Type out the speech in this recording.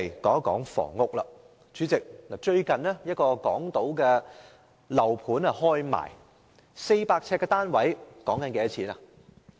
主席，最近有一個港島區的樓盤開賣，一個400平方呎的單位索價 1,000 萬元。